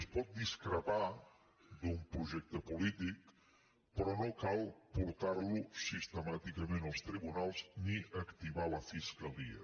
es pot discrepar d’un projecte polític però no cal portar lo sistemàticament als tribunals ni activar la fiscalia